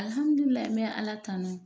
Alihamidulilayi n me ala tano